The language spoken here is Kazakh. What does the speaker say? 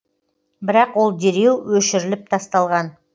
бірақ ол дереу өшіріліп тасталған